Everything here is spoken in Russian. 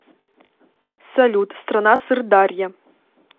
салют страна сыр дарья